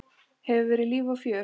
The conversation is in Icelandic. Hefur verið líf og fjör.